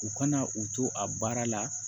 U kana u to a baara la